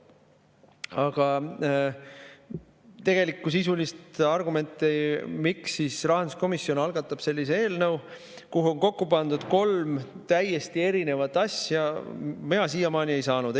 Aga tegelikku sisulist argumenti, miks rahanduskomisjon algatab eelnõu, kuhu on kokku pandud kolm täiesti erinevat asja, mina siiamaani ei ole kuulnud.